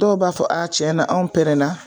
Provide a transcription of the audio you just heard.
Dɔw b'a fɔ a tiɲɛ na an na